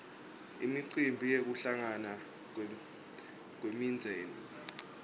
imicimbi yekuhlangana kwemindzeni